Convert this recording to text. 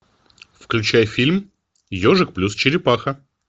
включай фильм ежик плюс черепаха